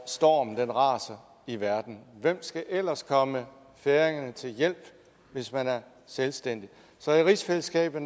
stormen raser i verden hvem skal ellers komme færingerne til hjælp hvis man er selvstændig så i rigsfællesskabet